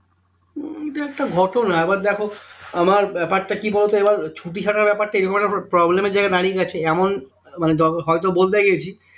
এইটা একটা ঘটনা এবার দেখো আমার ব্যাপারটা কি বলতো? এবার ছুটি ছাটার ব্যাপারটা এ রকম একটা problem এর জায়গায় দাঁড়িয়ে গেছে এমন মানে হয়তো বলতে গেছি